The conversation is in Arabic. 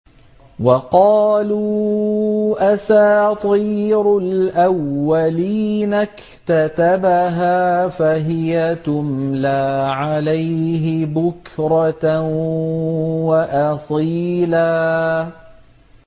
وَقَالُوا أَسَاطِيرُ الْأَوَّلِينَ اكْتَتَبَهَا فَهِيَ تُمْلَىٰ عَلَيْهِ بُكْرَةً وَأَصِيلًا